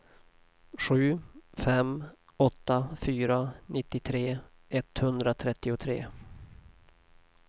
sju fem åtta fyra nittiotre etthundratrettiotre